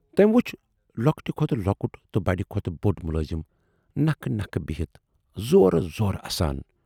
تٔمۍ وُچھ لۅکُٹہِ کھۅتہٕ لۅکُٹ تہٕ بڈِ کھۅتہٕ بوڈ مُلٲزِم نکھٕ نکھٕ بِہِتھ زورٕ زورٕ اَسان۔